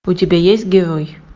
у тебя есть герой